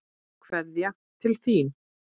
Kveðja til þín.